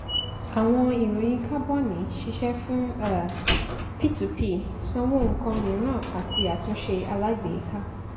àwọn ìròyìn kábọ̀nì ṣiṣẹ fún um p two p sanwó ǹkan mìíràn àti àtúnṣe alágbèéká